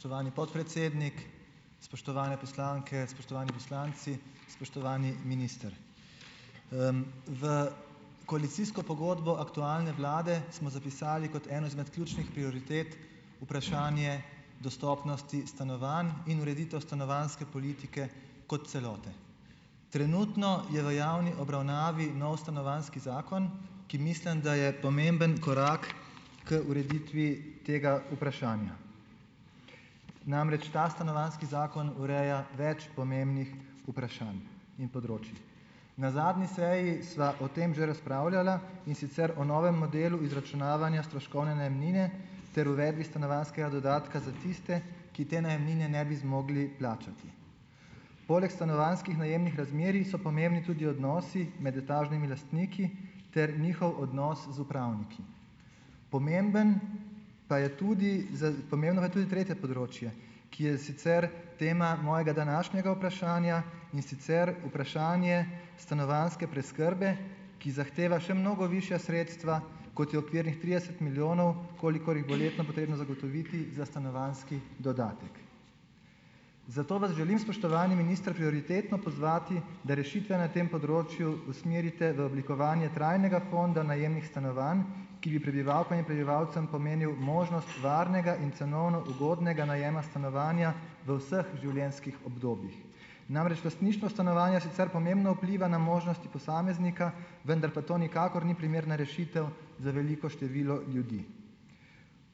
Spoštovani podpredsednik, spoštovane poslanke, spoštovani poslanci, spoštovani minister! V koalicijsko pogodbo aktualne vlade smo zapisali kot eno izmed ključnih prioritet vprašanje dostopnosti stanovanj in ureditev stanovanjske politike kot celote. Trenutno je v javni obravnavi nov stanovanjski zakon, ki mislim, da je pomemben korak k ureditvi tega vprašanja. Namreč ta stanovanjski zakon ureja več pomembnih vprašanj in področij. Na zadnji seji sva o tem že razpravljala, in sicer o novem modelu izračunavanja stroškovne najemnine ter uredbi stanovanjskega dodatka za tiste, ki te najemnine ne bi zmogli plačati. Poleg stanovanjskih najemnih razmerij so pomembni tudi odnosi med etažnimi lastniki ter njihov odnos z upravniki. Pomemben pa je tudi za pomembno pa je tudi tretje področje, ki je sicer tema mojega današnjega vprašanja, in sicer vprašanje stanovanjske preskrbe, ki zahteva še mnogo višja sredstva, kot je okvirnih trideset milijonov, kolikor jih bo letno potrebno zagotoviti za stanovanjski dodatek. Zato vas želim, spoštovani minister prioritetno pozvati, da rešitve na tem področju usmerite v oblikovanje trajnega fonda najemnih stanovanj, ki bi prebivalkam in prebivalcem pomenil možnost varnega in cenovno ugodnega najema stanovanja v vseh življenjskih obdobjih. Namreč lastništvo stanovanja sicer pomembno vpliva na možnosti posameznika, vendar pa to nikakor ni primerna rešitev za veliko število ljudi.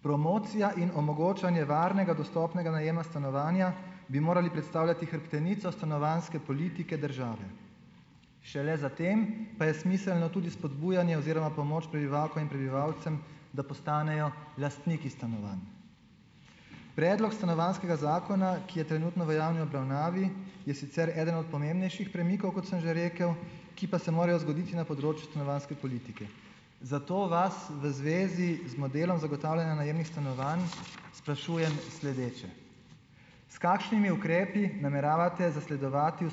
Promocija in omogočanje varnega dostopnega najema stanovanja bi morali predstavljati hrbtenico stanovanjske politike države, šele za tem pa je smiselno tudi spodbujanje oziroma pomoč prebivalkam in prebivalcem, da postanejo lastniki stanovanj. Predlog stanovanjskega zakona, ki je trenutno v javni obravnavi je sicer eden od pomembnejših premikov, kot sem že rekel, ki pa se morajo zgoditi na področju stanovanjske politike. Zato vas v zvezi z modelom zagotavljanja najemnih stanovanj sprašujem sledeče: S kakšnimi ukrepi nameravate zasledovati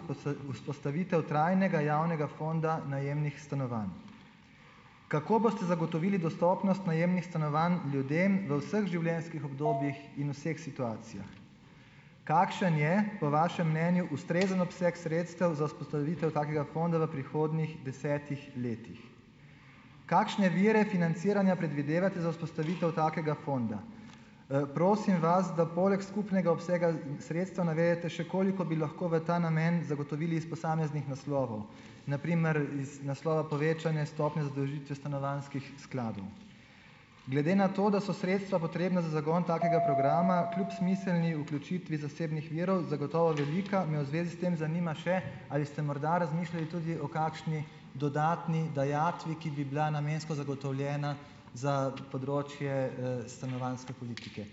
vzpostavitev trajnega javnega fonda najemnih stanovanj? Kako boste zagotovili dostopnost najemnih stanovanj ljudem v vseh življenjskih obdobjih in v vseh situacijah? Kakšen je po vašem mnenju ustrezen obseg sredstev za vzpostavitev takega fonda v prihodnjih desetih letih? Kakšne vire financiranja predvidevate za vzpostavitev takega fonda? Prosim vas, da poleg skupnega obsega sredstev navedete še, koliko bi lahko v ta namen zagotovili iz posameznih naslovov, na primer iz naslova povečanja stopnje zadolžitve stanovanjskih skladov. Glede na to, da so sredstva potrebna za zagon takega programa kljub smiselni vključitvi zasebnih virov zagotovo velika, me v zvezi s tem zanima še: Ali ste morda razmišljali tudi o kakšni dodatni dajatvi, ki bila namensko zagotovljena za področje, stanovanjske politike?